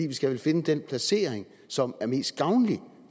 vi skal vel finde den placering som er mest gavnlig